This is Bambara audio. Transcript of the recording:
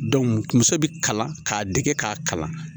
muso bɛ kalan, k'a dege k'a kalan.